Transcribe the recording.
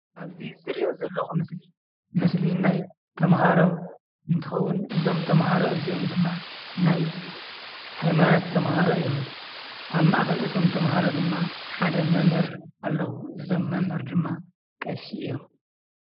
ኣብዚ ዝርእዮ ዘለኩ ምስሊ ምስሊ ናይ ተማሃሮ እንትኸውን እዞም ተማሃሮ እዚኦም ድማ ናይ ሃይማኖት ተማሃሮ እዮም ። ኣብ ማእኸል እቶም ተማሃሮ ድማ ሓደ መምህር ኣለው። እዞም መምህር ድማ ቀሺ እዮም።